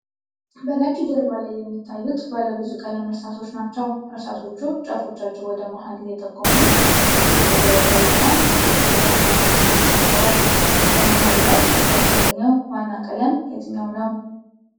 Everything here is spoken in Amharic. በነጭ ጀርባ ላይ የሚታዩት ባለ ብዙ ቀለም እርሳሶች ናቸው። እርሳሶቹ ጫፎቻቸው ወደ መሀል እየተጠቆሙ በክብ የተደረደሩ እና የቀስተ ዳመና ቀለማትን ይዘዋል። በመሃሉ ላይ ያልተገኘው ዋና ቀለም የትኛው ነው?